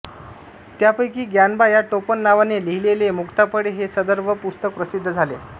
त्यापैकी ग्यानबा या टोपण नावाने लिहिलेले मुक्ताफळे हे सदर व पुस्तक प्रसिद्ध झाले